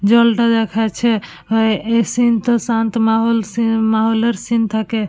জলটা দেখাচ্ছে ও এ এই সিন টা শান্ত মাহল মহলের সিন থাকে।